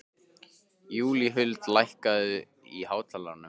Júlíhuld, lækkaðu í hátalaranum.